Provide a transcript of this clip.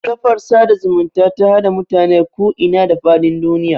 Kafar sada zumunta ta haɗa mutane ku ina da faɗin duniya